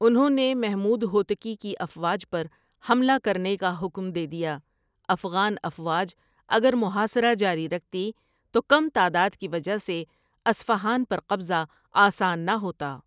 انھوں نے محمود ہوتکی کی افواج پر حملہ کرنے کا حکم دے دیا افغان افواج اگر محاصرہ جاری رکھتی تو کم تعداد کی وجہ سے اصفہان پر قبضہ آسان نہ ہوتا ۔